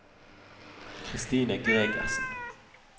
Kristine Gregersen